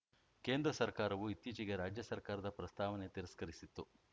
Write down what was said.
ಕೇಂದ್ರ ಸರ್ಕಾರವು ಇತ್ತೀಚೆಗೆ ರಾಜ್ಯ ಸರ್ಕಾರದ ಪ್ರಸ್ತಾವನೆ ತಿರಸ್ಕರಿಸಿತ್ತು